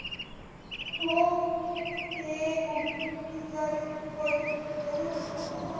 हो ते